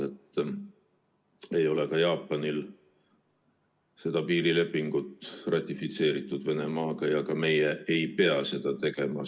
Ta ei ole ka Jaapaniga piirilepingut ratifitseerinud ja meie ei pea seda samuti tegema.